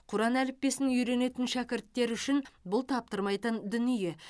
құран әліппесін үйренетін шәкірттер үшін бұл таптырмайтын дүние